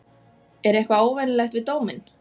Er eitthvað óvenjulegt við dóminn?